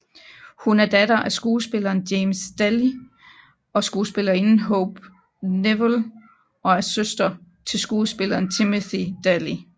Hun er datter af skuespilleren James Daly og skuespillerinden Hope Newell og er søster til skuespilleren Timothy Daly